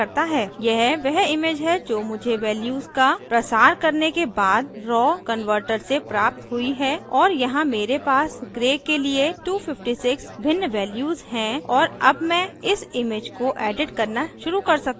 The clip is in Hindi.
यह वह image है जो मुझे values का प्रसार करने के बाद raw raw converter से प्राप्त हुई है और यहाँ मेरे पास gray के लिए 256 भिन्न values हैं और अब मैं इस image को edit करना शुरू कर सकती हूँ